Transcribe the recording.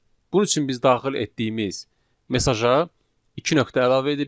Bunun üçün biz daxil etdiyimiz mesaja iki nöqtə əlavə edirik.